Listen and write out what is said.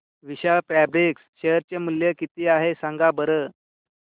विशाल fabrics share चे मूल्य किती आहे सांगा बरं